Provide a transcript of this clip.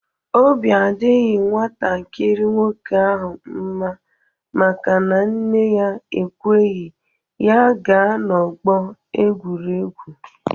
Obi adịghị nwantakịrị nwoke ahụ mma maka na nne ya ekweghị ya gaa n'ọgbọ egwuregwu